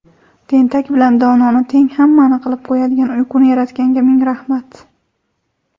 tentak bilan dononi teng hammani qilib qo‘yadigan uyquni yaratganga ming rahmat.